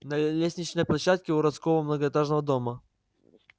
на лестничной площадке уродского многоэтажного дома